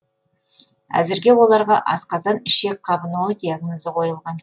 әзірге оларға асқазан ішек қабынуы диагнозы қойылған